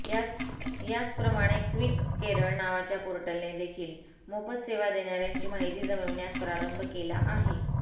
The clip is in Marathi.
याचप्रकारे क्विककेरळ नावाच्या पोर्टलने देखील मोफत सेवा देणाऱयांची माहिती जमविण्यास प्रारंभ केला आहे